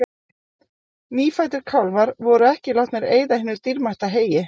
Nýfæddir kálfar voru ekki látnir eyða hinu dýrmæta heyi.